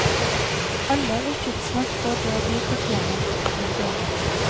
Alle vil tidsnok få det de fortjener. punktum